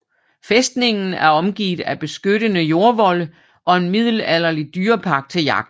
Fæstningen er omgivet af beskyttende jordvolde og en middelalderlig dyrepark til jagt